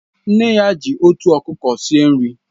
Nne ya ji uto okuko n'esi nri